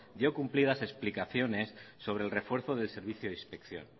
dio cumplidas explicaciones sobre el refuerzo del servicio de inspección